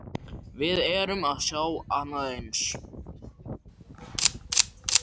Við erum að sjá annað eins?